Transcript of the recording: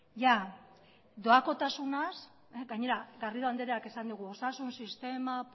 jada doakotasunaz gainera garrido andreak esan digu osasun sistema